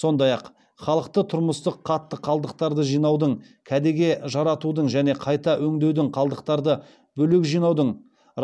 сондай ақ халықты тұрмыстық қатты қалдықтарды жинаудың кәдеге жаратудың және қайта өңдеудің қалдықтарды бөлек жинаудың